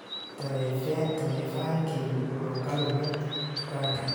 Taleefankaygu wuxuu ka lumay dukaanka